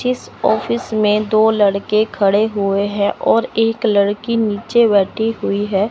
इस ऑफिस में दो लड़के खड़े हुए हैं और एक लड़की नीचे बैठी हुई है।